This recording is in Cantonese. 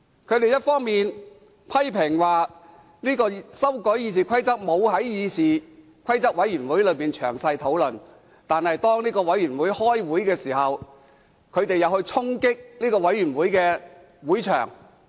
他們一方面批評修改《議事規則》的建議未有在議事規則委員會詳細討論，另一方面卻在該委員會舉行會議時衝擊會場。